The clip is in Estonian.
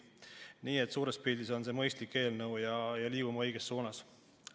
Nii et suures pildis on see mõistlik eelnõu ja liigume õiges suunas.